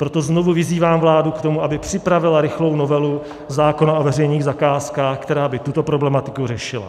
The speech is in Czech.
Proto znovu vyzývám vládu k tomu, aby připravila rychlou novelu zákona o veřejných zakázkách, která by tuto problematiku řešila.